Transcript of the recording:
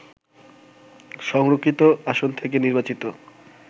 সংরক্ষিত আসন থেকে নির্বাচিত